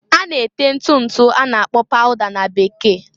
A na-ete ntụ ntụ a na-akpọ -pauda na Bekee.